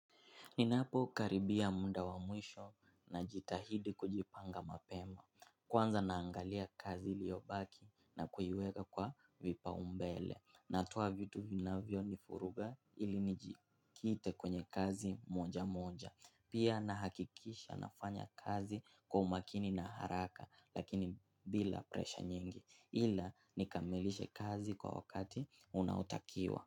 Ninapo karibia muda wa mwisho na jitahidi kujipanga mapema. Kwanza naangalia kazi liyo baki na kuiweka kwa vipaumbele. Natuoa vitu vinavyo nifuruga ili nijikite kwenye kazi moja moja. Pia na hakikisha nafanya kazi kwa umakini na haraka lakini bila presha nyingi. Hila nikamilishe kazi kwa wakati unaotakiwa.